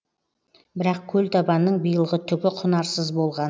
бірақ көлтабанның биылғы түгі құнарсыз болған